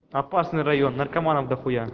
опасный район наркоманов дохуя